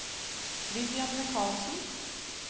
Vivian Mikalsen